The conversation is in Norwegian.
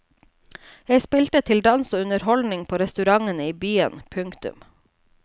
Jeg spilte til dans og underholdning på restaurantene i byen. punktum